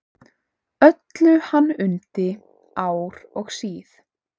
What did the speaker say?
Öllu hann undi ár og síð.